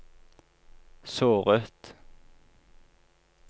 såret